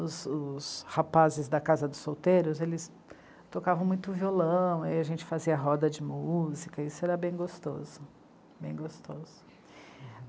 os, os rapazes da casa dos solteiros, eles tocavam muito violão, e a gente fazia roda de música, isso era bem gostoso, bem gostoso.